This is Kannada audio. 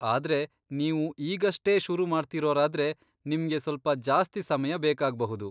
ಆದ್ರೆ ನೀವು ಈಗಷ್ಟೇ ಶುರು ಮಾಡ್ತಿರೋರಾದ್ರೆ, ನಿಮ್ಗೆ ಸ್ವಲ್ಪ ಜಾಸ್ತಿ ಸಮಯ ಬೇಕಾಗ್ಬಹುದು.